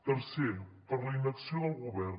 tercer per la inacció del govern